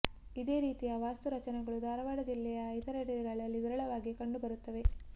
ಇದೇ ರೀತಿಯ ವಾಸ್ತುರಚನೆಗಳು ಧಾರವಾಡ ಜಿಲ್ಲೆಯ ಇತರೆಡೆಗಳಲ್ಲಿ ವಿರಳವಾಗಿ ಕಂಡು ಬರುತ್ತವೆ